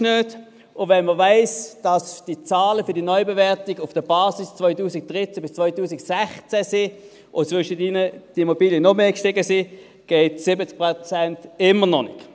Und wenn man weiss, dass die Zahlen für die Neubewertung auf der Basis 2013–2016 abstellen, und in der Zwischenzeit die Immobilien noch mehr gestiegen sind, gehen 70 Prozent immer noch nicht.